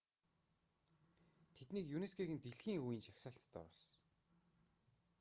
тэднийг юнеско-гийн дэлхийн өвийн жагсаалтанд оруулсан